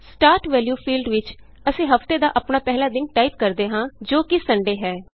start value field ਵਿਚ ਅਸੀਂ ਹਫ਼ਤੇ ਦਾ ਆਪਣਾ ਪਹਿਲਾ ਦਿਨ ਟਾਈਪ ਕਰਦੇ ਹਾਂ ਜੋ ਕਿ ਸੁੰਡੇ ਹੈ